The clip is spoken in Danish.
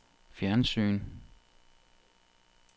fjernsyn